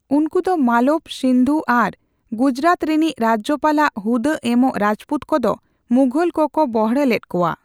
ᱩᱱᱠᱩᱫᱚ ᱢᱟᱞᱚᱵᱽ, ᱥᱤᱱᱫᱷᱩ ᱟᱨ ᱜᱩᱡᱽᱨᱟᱛ ᱨᱮᱱᱤᱡ ᱨᱟᱡᱽᱡᱚᱯᱟᱞ ᱟᱜ ᱦᱩᱫᱟᱹ ᱮᱢᱚᱜ ᱨᱟᱡᱯᱩᱛ ᱠᱚᱫᱚ ᱢᱩᱜᱷᱚᱞ ᱠᱚᱠᱚ ᱵᱚᱲᱦᱮ ᱞᱮᱫᱠᱚᱣᱟ ᱾